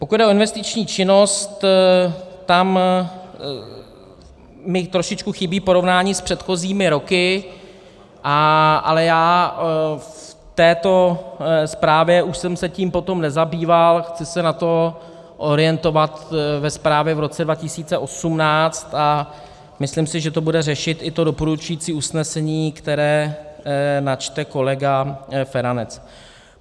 Pokud jde o investiční činnost, tam mi trošičku chybí porovnání s předchozími roky, ale já v této zprávě už jsem se tím potom nezabýval, chci se na to orientovat ve zprávě v roce 2018 a myslím si, že to bude řešit i to doporučující usnesení, které načte kolega Feranec.